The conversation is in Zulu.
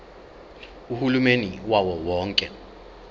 uhulumeni wawo wonke